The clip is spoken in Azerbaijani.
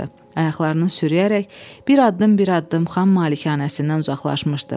Ayaqlarını sürüyərək bir addım-bir addım xan malikanəsindən uzaqlaşmışdı.